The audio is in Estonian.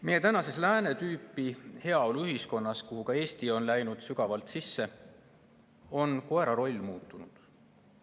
Meie tänases, lääne tüüpi heaoluühiskonnas, kuhu ka Eesti on sügavalt sisse läinud, on koera roll muutunud.